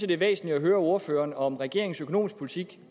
det er væsentligt at høre ordføreren om regeringens økonomiske politik